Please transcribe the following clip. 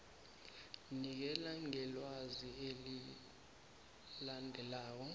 nikela ngelwazi elilandelako